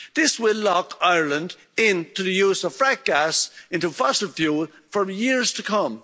This will lock Ireland in to the use of fracked gas, into fossil fuel, for years to come.